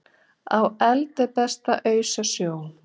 Á eld er best að ausa snjó